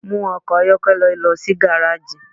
Mu ọkọ ayọkẹlẹ lọ si gareji!